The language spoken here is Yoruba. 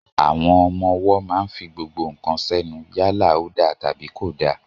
Àwọn ọmọ wó mà ń fí gbogbo kán sẹnu, yàlá ò dà tàbí kò dà.